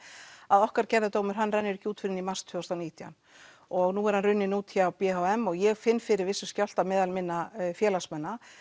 að okkar gerðadómur hann rennu r ekki út fyrr en í mars tvö þúsund og nítján og nú er hann runninn út hjá b h m og ég finn fyrir vissum skjálfta meðal minna félagsmanna